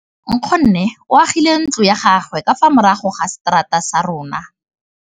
Nkgonne o agile ntlo ya gagwe ka fa morago ga seterata sa rona.